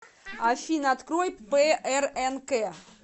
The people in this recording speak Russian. афина открой прнк